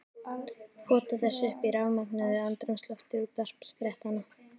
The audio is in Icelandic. Pota þessu upp í sig í rafmögnuðu andrúmslofti útvarpsfréttanna.